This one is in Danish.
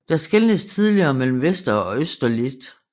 Der skelnedes tidligere mellem Vester og Øster List